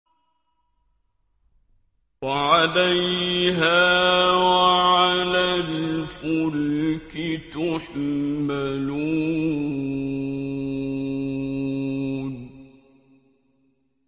وَعَلَيْهَا وَعَلَى الْفُلْكِ تُحْمَلُونَ